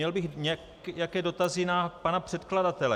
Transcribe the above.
Měl bych nějaké dotazy na pana předkladatele.